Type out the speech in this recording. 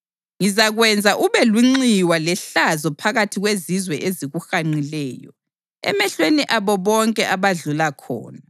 Ngizakwenza ube lunxiwa lehlazo phakathi kwezizwe ezikuhanqileyo, emehlweni abo bonke abadlula khona.